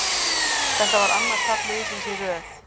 Þetta var annað tap liðsins í röð.